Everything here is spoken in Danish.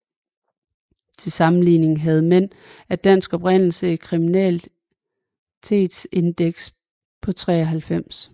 Til sammenligning havde mænd af dansk oprindelse et kriminalitetsindeks på 93